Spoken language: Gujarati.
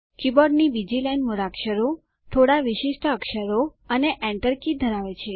કીબોર્ડની બીજી લાઈન મૂળાક્ષરો થોડા વિશિષ્ટ અક્ષરો અને કી એન્ટર કી ધરાવે છે